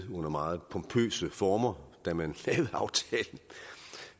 under meget pompøse former da man